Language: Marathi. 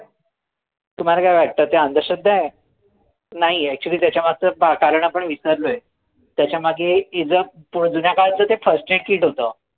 तुम्हाला काय वाट्ट त्या अंधश्रद्धा आय नाई actually त्याच्या मगच कारण आपणं विसरलोय त्याच्या मागे जुन्या काळाच ते first aid kit होत